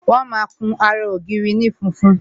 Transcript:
Wọn máa kun ara ògiri ní funfun